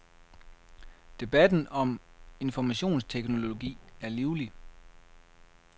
Debatten om informationsteknologi er livlig.